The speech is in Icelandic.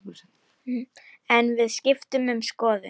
En við skiptum um skoðun.